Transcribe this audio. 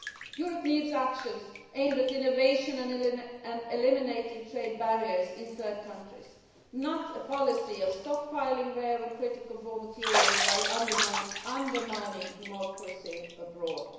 Europe needs actions aimed at innovation and eliminating trade barriers in third countries, not a policy of stockpiling rare and critical raw materials while undermining democracy abroad.